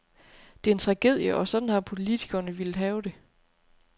Det er en tragedie, og sådan har politikerne villet have det.